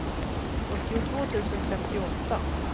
sjuttiotvå tusen femtioåtta